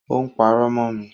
Ó ń pàrọ̀ mọ mi